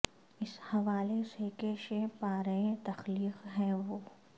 اس حو الے سے کہ شہ پا رئہ تخلیق ہے وہ